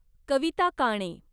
Kavita Kane